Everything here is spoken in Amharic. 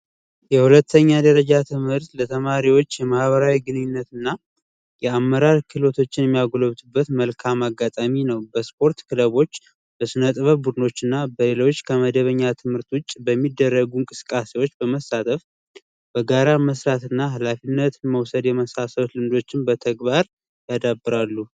የሁለተኛ ደረጃ ትምህርት ለተማሪዎች የማህበራዊ ግንኙነት እና የአመራር ክህሎቶች የሚያጎለብቱበት መልካም አጋጣሚ ነው። በስፖርት ክለቦች፣ በሥነ ጥበብ ቡድኖች እና በሌሎች ከመደበኛ ትምህርት ውጭ በሚደረጉ እንቅስቃሴዎች በመሳተፍ በጋራ መስራት እና ኃላፊነት መውሰድ የመሳሰሉት ልምዶችን በተግባር ያዳብራሉ።